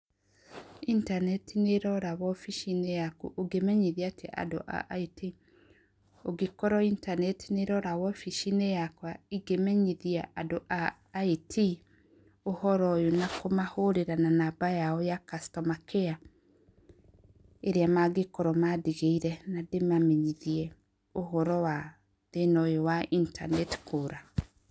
Intaneti nĩ ĩrora wobici-inĩ yaku, ũngĩmenyithia atĩa andũ a IT? Ũngĩkorwo intaneti nĩ ĩrora wobici-inĩ yakwa ingĩmenyithia andũ a IT ũhoro ũyũ na kũmahũrĩra na namba yao ya customer care, ĩrĩa mangĩkorwo mandigĩire na ndĩmamenyithie ũhoro wa thĩna ũyũ wa intaneti kũũra.